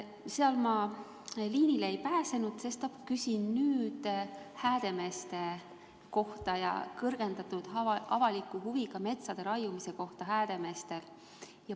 Seal ma liinile ei pääsenud, sestap küsin nüüd Häädemeeste kohta, täpsemalt kõrgendatud avaliku huviga metsade raiumise kohta Häädemeestel.